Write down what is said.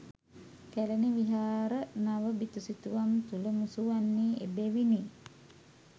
කැලණි විහාර නව බිතුසිතුවම් තුළ මුසුවන්නේ එබැවිනි.